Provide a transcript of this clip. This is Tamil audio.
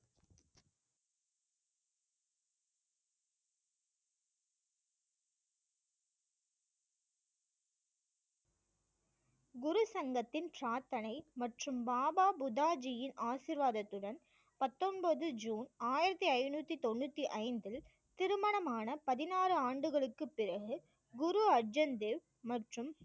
குரு சங்கத்தின் சாதனை மற்றும் பாபா புத்தா ஜீயின் ஆசீர்வாதத்துடன் பத்தொன்பது ஜூன் ஆயிரத்தி ஐநூத்தி தொண்ணூற்றி ஐந்தில் திருமணமான பதினாறு ஆண்டுகளுக்கு பிறகு குரு அர்ஜன் தேவ் மற்றும்